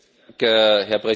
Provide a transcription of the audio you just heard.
Herr Präsident!